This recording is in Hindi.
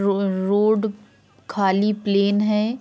रो-रोड खाली प्लेन है।